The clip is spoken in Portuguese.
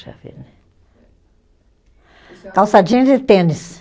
Calça jeans e tênis.